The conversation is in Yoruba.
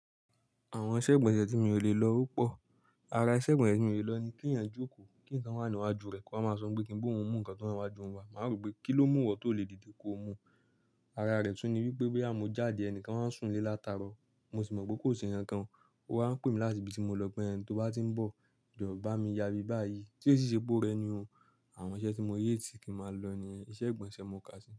Àwọn iṣẹ́ ìgbọ̀nsẹ̀ tí mi ò lè lọ ọ́pọ̀. Ara iṣẹ́ ìgbọ̀nsẹ̀ tí mi ò lè lọ ni kí ẹ̀yin jókòó, kí nǹkan wà níwájú rẹ̀ kí a máa sọ pé kín bohùn mú nǹkan tó níwájú wa, màá rò pé kí ló mú ọ tó lè dìde kó o mú. Ara rẹ̀ tún ni wípé boya mo jáde ẹni kan wá ń sùn lé látaro. Mo sì mọ̀ pé kò se nǹkan kan, ó wa ń pè mí láti ibi tí mo lọ pé ẹni tí ó bá tí ń bọ̀, jọ̀wọ́ bá mi yabi báyìí tí ó sì ṣe pé ó rẹ ni o. Àwọn iṣẹ́ tí mo hate kí máa lọ niyen iṣẹ́ ìgbọ̀nsẹ̀ mo kà sí.